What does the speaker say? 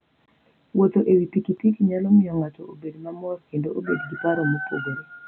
Wuotho e wi pikipiki nyalo miyo ng'ato obed mamor kendo obed gi paro mopogore.